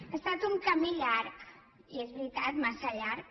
ha estat un camí llarg i és veritat massa llarg